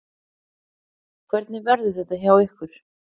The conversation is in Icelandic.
Hvernig verður þetta hjá ykkur?